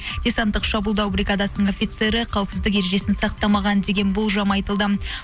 десанттық шабуылдау бригадасының офицері қауіпсіздік ережесін сақтамаған деген болжам айтылды